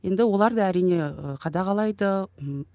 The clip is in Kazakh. енді олар да әрине ііі қадағалайды ммм